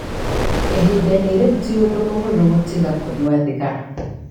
Ihinda-inĩ rĩu, ti ũndũ mũhũthũ gũtiga kũnyua thigara.